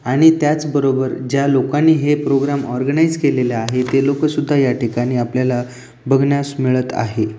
आणि त्याचबरोबर ज्या लोकानी हे प्रोग्राम ऑर्गनाईझ केलेल आहे ते लोक सुद्धा या ठिकाणी आपल्याला बघण्यास मिळत आहे.